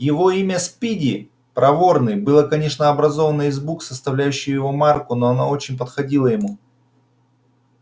его имя спиди проворный было конечно образовано из букв составляющих его марку но оно очень подходило ему